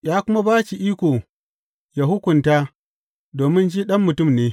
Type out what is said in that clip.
Ya kuma ba shi iko yă hukunta domin shi Ɗan Mutum ne.